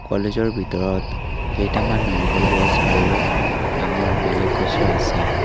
কলেজৰ ভিতৰত কেইটামান নাৰিকল গছ আৰু ডাঙৰ বেলেগ গছো আছে।